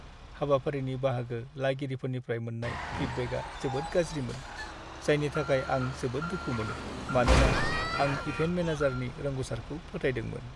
हाबाफारिनि बाहागो लागिरिफोरनिफ्राय मोन्नाय फिडबेकआ जोबोद गाज्रिमोन, जायनि थाखाय आं जोबोद दुखु मोनो, मानोना आं इभेन्ट मेनेजारनि रोंग'सारखौ फोथायदोंमोन।